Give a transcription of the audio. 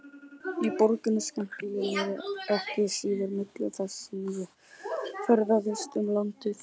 Í borginni skemmti ég mér ekki síður milli þess sem ég ferðaðist um landið.